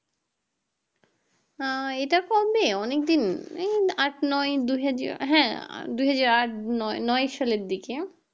আহ এটা কবে অনিক দিন এই আট নয় দুইহাজার হ্যাঁ দুহাজার আট নয়~নয় সালের দিকে